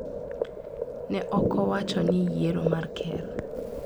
Ne ok owach ni yiero mar ker.